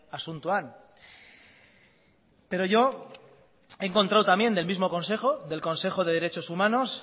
asuntoan pero yo he encontrado también del mismo consejo del consejo de derechos humanos